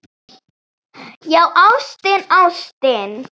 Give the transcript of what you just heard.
Já, ástin, ástin.